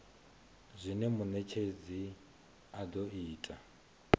zwine munetshedzi a do ita